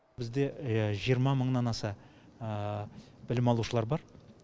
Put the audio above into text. бізде жиырма мыңнан аса білім алушылар бар